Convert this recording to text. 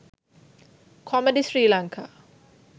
comedy srilanka